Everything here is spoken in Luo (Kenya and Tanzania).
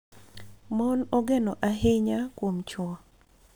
Mon ogeno ahinya kuom chwo